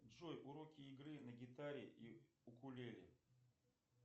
джой уроки игры на гитаре и укулеле